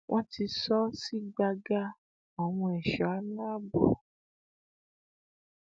wọn ti sọ ọ sí gbàgà àwọn èso alaabo